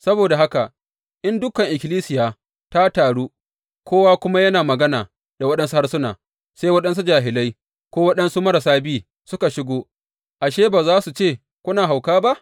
Saboda haka, in dukan ikkilisiya ta taru, kowa kuma yana magana da waɗansu harsuna, sai waɗansu jahilai ko waɗansu marasa bi suka shigo, ashe, ba za su ce kuna hauka ba?